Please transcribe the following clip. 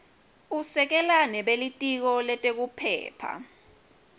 usekela nebelitiko letekuphepha